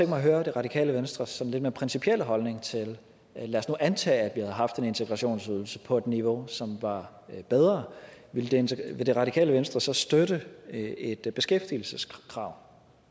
mig at høre det radikale venstres sådan lidt mere principielle holdning lad os nu antage at vi havde haft en integrationsydelse på et niveau som var bedre vil det vil det radikale venstre så støtte et beskæftigelseskrav